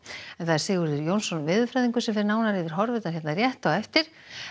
Sigurður Jónsson veðurfræðingur fer nánar yfir horfurnar hér rétt á eftir